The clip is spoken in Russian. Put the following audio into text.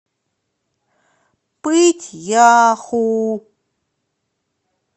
пыть яху